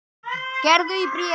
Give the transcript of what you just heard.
Gerður í bréfi.